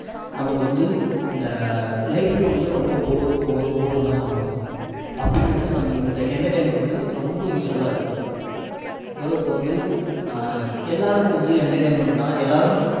நமக்கு வந்து இந்த life ஏ வந்து ரொம்ப bore bore bore ன்னு தான் சொல்லணும் அப்படி நம்ம வந்து இந்த entertainment வந்து ரொம்ப useful லா இருக்கு so இப்போ வந்து அஹ் எல்லாருக்கும் வந்து entertainment னா எல்லாரும்